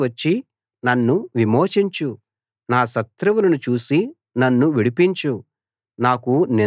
నా దగ్గరికి వచ్చి నన్ను విమోచించు నా శత్రువులను చూసి నన్ను విడిపించు